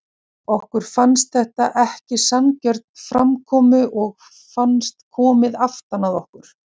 En það andóf kom að takmörkuðu liði sósíalistum og hugmyndum þeirra um nýtt samfélag.